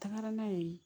Taga n'a ye